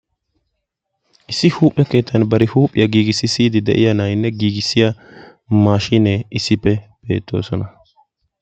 issi huuphe keettan bari huuphiya giigissiya na'aynne maashiinee issippe beetoosona.